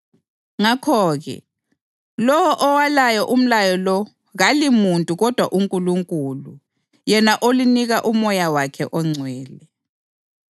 Ngakho-ke, lowo owalayo umlayo lo kalimuntu kodwa uNkulunkulu, yena olinika uMoya wakhe oNgcwele.